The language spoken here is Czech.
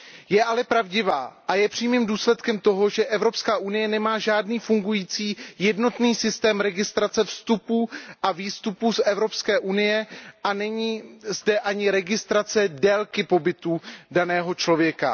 Je ale pravdivá a je přímým důsledkem toho, že Evropská unie nemá žádný fungující jednotný systém registrace vstupů a výstupů z Evropské unie a že zde není ani registrace délky pobytu daného člověka.